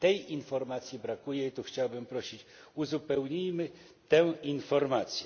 Tej informacji brakuje i tu chciałbym prosić uzupełnijmy tę informację.